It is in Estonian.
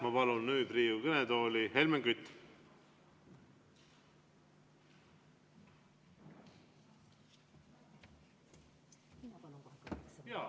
Ma palun nüüd Riigikogu kõnetooli Helmen Küti.